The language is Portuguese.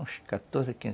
Uns quatorze a quin